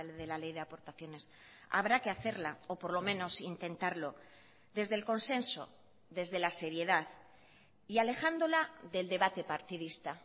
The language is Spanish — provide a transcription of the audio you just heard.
de la ley de aportaciones habrá que hacerla o por lo menos intentarlo desde el consenso desde la seriedad y alejándola del debate partidista